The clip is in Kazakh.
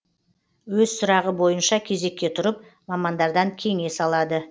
өз сұрағы бойынша кезекке тұрып мамандардан кеңес алады